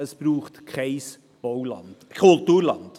Es braucht kein Kulturland.